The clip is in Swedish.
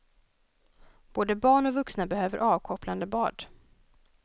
Både barn och vuxna behöver avkopplande bad.